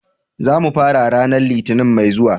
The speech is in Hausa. Za mu fara ranar Litinin mai zuwa.